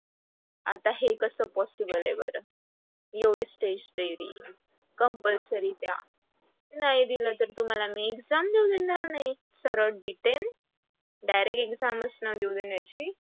आता हे कस possible आहे बर. एवढी test तरी, compulsory द्या. नाही दिल तर मी तुम्हाला exam देऊ देणार नाही. सरळ detain direct exam च न देऊ देण्याची